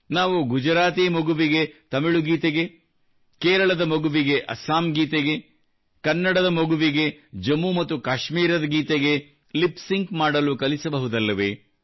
ನಾವು ಗುಜರಾತಿ ಮಗು ತಮಿಳು ಗೀತೆಗೆ ಕೇರಳದ ಮಗು ಅಸ್ಸಾಂ ಗೀತೆಗೆ ಕನ್ನಡದ ಮಗು ಜಮ್ಮು ಮತ್ತು ಕಾಶ್ಮೀರದ ಗೀತೆಗೆ ಲಿಪ್ ಸಿಂಕ್ ಮಾಡಬಹುದಲ್ಲವೆ